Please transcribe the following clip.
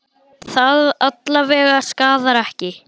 Það alla vega skaðar ekki.